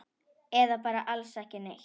Eða bara alls ekki neitt?